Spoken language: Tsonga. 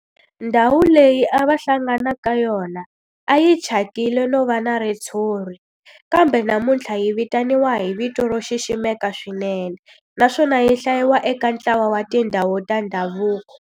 Ndhawu leyi a va hlangana ka yona a yi thyakile no va na ritshuri kambe namuntlha yi vitaniwa hi vito ro xiximeka swinene naswona yi hlayiwa eka ntlawa wa tindhawu ta ndhavuko.